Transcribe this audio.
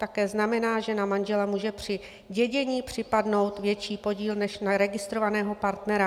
Také znamená, že na manžela může při dědění připadnout větší podíl než na registrovaného partnera.